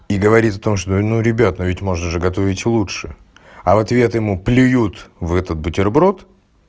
и говорит о том что ну ребята ведь можно же готовить лучше а в ответ ему плюют в этот бутерброд